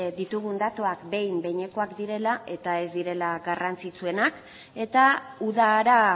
ditugun datuak behin behinekoak direla eta ez direla garrantzitsuenak eta udara